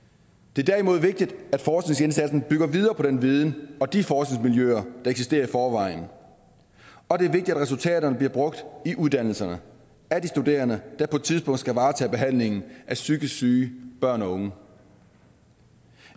det er derimod vigtigt at forskningsindsatsen bygger videre på den viden og de forskningsmiljøer der eksisterer i forvejen og det er vigtigt at resultaterne bliver brugt i uddannelserne af de studerende der på et tidspunkt skal varetage behandlingen af psykisk syge børn og unge